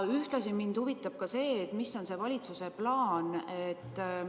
Ühtlasi huvitab mind see, milline on valitsuse plaan.